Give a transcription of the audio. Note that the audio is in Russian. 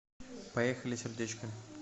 поехали сердечко